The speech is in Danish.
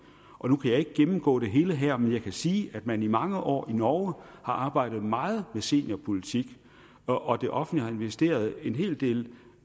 nu kan jeg ikke gennemgå det hele her men jeg kan sige at man i mange år i norge har arbejdet meget med seniorpolitik og det offentlige har investeret en hel del